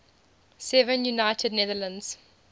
seven united netherlands